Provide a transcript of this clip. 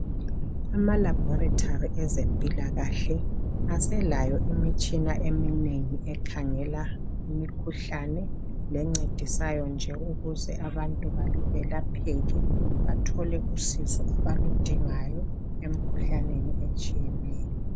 Ama laboratory ezempilakahle aselayo imitshina eminengi ekhangela imikhuhlane lencedisayo nje ukuze abantu belapheke bathole usizo abaludingayo emikhuhlaneni etshiyeneyo.